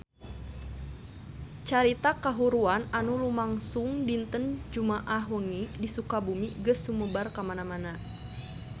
Carita kahuruan anu lumangsung dinten Jumaah wengi di Sukabumi geus sumebar kamana-mana